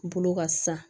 Bolo ka sa